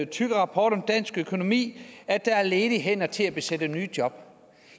tykke rapport om dansk økonomi at der er ledige hænder til at besætte nye job